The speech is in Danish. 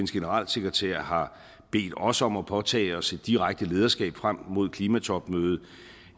generalsekretær har bedt os om at påtage os et direkte lederskab frem mod klimatopmødet